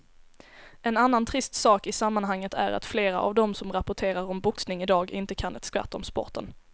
En annan trist sak i sammanhanget är att flera av de som rapporterar om boxning i dag inte kan ett skvatt om sporten.